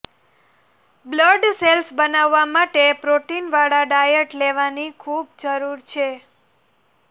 blood cells બનાવવા માટે પ્રોટીનવાળા ડાયટ લેવાની ખૂબ જરૂર છે